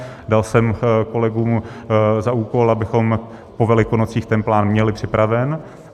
Dal jsem kolegům za úkol, abychom po Velikonocích ten plán měli připraven.